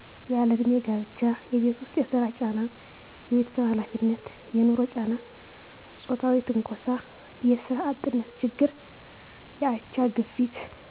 ያለእድሜ ጋብቻ የቤት ውስጥ የስራ ጫና የቤተሰብ ሀላፊነት የንሮ ጫና ጾታዊ ትንኮሳ የስራ አጥነት ችግር የአቻ ግፊት